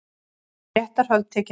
Réttarhöld tekin upp